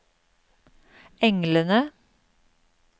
englene